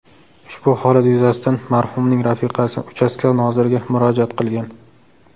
Ushbu holat yuzasidan marhumning rafiqasi uchastka noziriga murojaat qilgan.